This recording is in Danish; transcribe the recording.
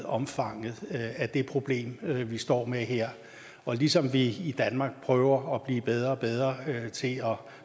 omfanget af det problem vi står med her ligesom vi i danmark prøver at blive bedre og bedre til at